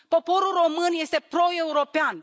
Poporul român este proeuropean.